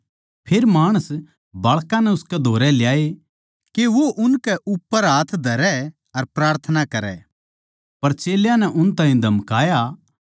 फेर माणस बाळकां नै उसकै धोरै ल्याए के वो उनकै उप्पर हाथ धरै अर प्रार्थना करै पर चेल्यां नै उन ताहीं धमकाया